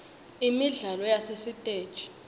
imidlalo yasesitegi